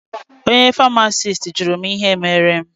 Onye famasisti jụrụ mụ ihe mere mụ.